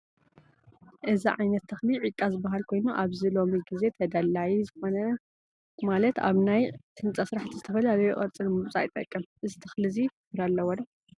እዚ ዓይነት ትክሊ ዒቃ ዝበሃል ኮይኑ ኣብዚ ሎሚ ግዜ ተዳለይ ዝኮነ ማለት ኣብ ናይ ህንፃ ስራሕቲ ዝተፈላለዩ ቅርፂ ንምውፃእ ይጠቅም። እዚ ተኽሊ እዚ ፍረ ኣለዎ ዶ ?